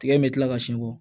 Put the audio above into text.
Tigɛ in bɛ kila ka siɲɛ bɔ